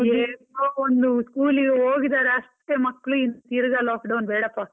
ಏನೋ ಒಂದು school ಇಗೆ ಹೋಗಿದಾರೆ ಅಷ್ಟೇ ಮಕ್ಕಳು, ಈಗ ತಿರ್ಗ lockdown ಬೇಡಪ್ಪ.